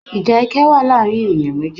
Ìjà ẹkẹ́ wa láàrin ènìyãn méjì